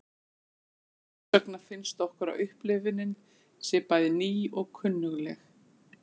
Þess vegna finnst okkur að upplifunin sé bæði ný og kunnugleg.